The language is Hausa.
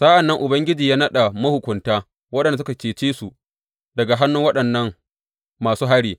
Sa’an nan Ubangiji ya naɗa mahukunta, waɗanda suka cece su daga hannun waɗannan musu hari.